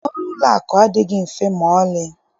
Ọrụ ụlọakụ adịghị mfe maọlị